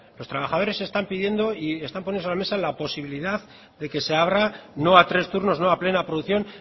los trabajadores están pidiendo y están poniendo sobre la mesa la posibilidad de que se abra no a tres turnos no a plena producción